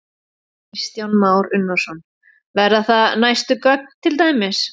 Kristján Már Unnarsson: Verða það næstu göng til dæmis?